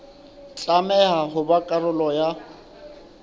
tlameha ho ba karolo ya